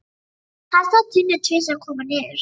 Hann sá Tinnu tvisvar koma niður.